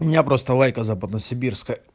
у меня просто лайка западно-сибирская